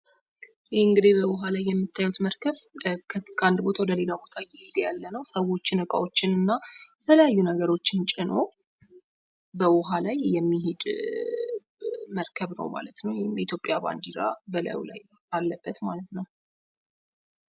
ይህ እንግዲህ በውሃ ላይ የምታዩት መርከብ ከአንድ ቦታ ወደ ሌላ ቦታ እየሄደ ያለ ነው። ሰዎችን እቃዎችን እና የተለያዩ ነገሮችን ጭኖ በውሀ ላይ የሚሄድ መርከብ ነው ማለት ነው። የኢትዮጵያ ባንድራ በላዩ ላይ አለበት ማለት ነው።